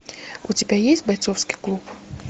у тебя есть бойцовский клуб